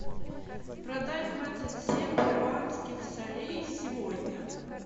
продать двадцать семь перуанских солей сегодня